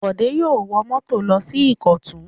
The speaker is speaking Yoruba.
Bọ̀dé yóò wọ mọ́tò lọ sí Ìkọ̀tún!